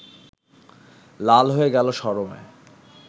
লাল হয়ে গেল শরমে